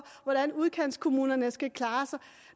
hvordan udkantskommunerne skal klare sig